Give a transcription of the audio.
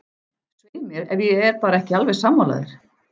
Svei mér, ef ég er bara ekki alveg sammála þér.